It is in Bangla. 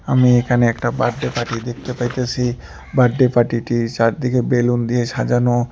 আমি এখানে একটা বার্থডে পার্টি দেখতে পাইতাসি বার্থডে পার্টি -টি চারদিকে বেলুন দিয়ে সাজানো।